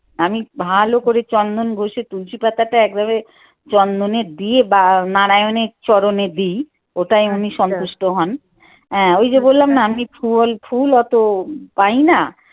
আমি ভালো করে চন্দন ঘষে তুলসি পাতাটা একভাবে চন্দনে দিয়ে বা নারায়ণের চরণে দিইও তা এমনিতেই সন্তুষ্ট হন আহ ঐযে বললাম না আমি ফুল ফুল অত পাই না।